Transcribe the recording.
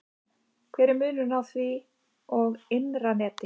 Hver er munurinn á því og innra neti?